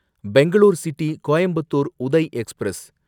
Bangalore city Coimbatore Uday express